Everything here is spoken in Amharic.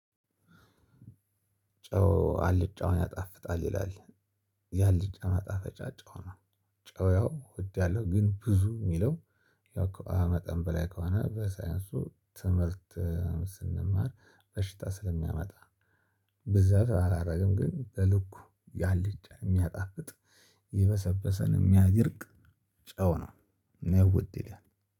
ጨው አልጫውን ያጣፍጣል ይላል ያልጫውን ማጣፈጫ ጨው ነው። ጨው ያው ወዳለሁ ግን ብዙ የሚለው ያው ከ ኧ መጠን በላይ ከሆነ በሳይንሱ ትምህርት እ ስንማር በሽታ ስለሚያመጣ። ብዛት አላደርግም ግን በልኩ ያለች የሚያጣፍጥ ይበሰበሰን የሚያደርቅ ጨው ነው። ነው ውድ ይላል